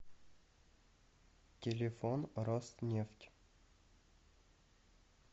телефон роснефть